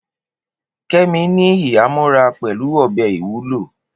Kemi ní ìhámọ́ra pẹ̀lú ọ̀bẹ ìwúlò.